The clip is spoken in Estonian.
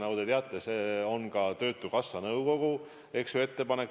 Nagu te teate, see on ka töötukassa nõukogu ettepanek.